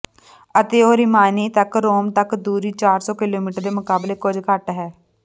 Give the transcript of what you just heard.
ਅਤੇ ਉਹ ਰਿਮਿਨਾਇ ਤੱਕ ਰੋਮ ਤੱਕ ਦੂਰੀ ਚਾਰ ਸੌ ਕਿਲੋਮੀਟਰ ਦੇ ਮੁਕਾਬਲੇ ਕੁਝ ਘੱਟ ਹੈ